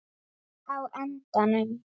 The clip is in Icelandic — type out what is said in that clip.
Loðnan var mjög fín.